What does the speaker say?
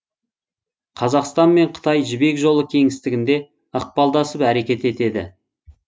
қазақстан мен қытай жібек жолы кеңістігінде ықпалдасып әрекет етеді